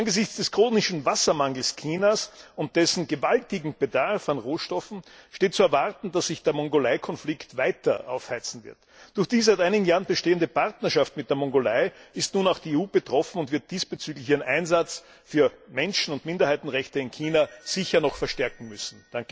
Angesichts des chronischen Wassermangels Chinas und dessen gewaltigem Bedarf an Rohstoffen steht zu erwarten, dass sich der Mongolei Konflikt weiter aufheizen wird. Durch die seit einigen Jahren bestehende Partnerschaft mit der Mongolei ist nun auch die EU betroffen, und sie wird diesbezüglich ihren Einsatz für Menschen und Minderheitenrechte sicher noch verstärken müssen.